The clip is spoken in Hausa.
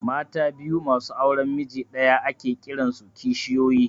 Mata biyu masu auran miji ɗaya ake kiran su kishiyoyi